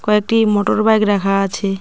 কয়েকটি motor bike রাখা আছে।